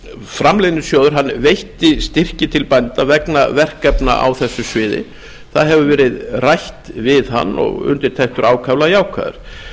framleiðnisjóður veitti styrki til bænda vegna verkefna á þessu sviði það hefur verið rætt við hann og undirtektir ákaflega jákvæðar